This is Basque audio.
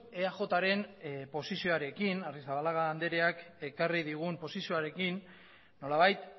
eajren posizioarekin arrizabalaga andreak ekarri digun posizioarekin nolabait